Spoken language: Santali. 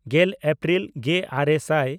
ᱜᱮᱞ ᱮᱯᱨᱤᱞ ᱜᱮᱼᱟᱨᱮ ᱥᱟᱭ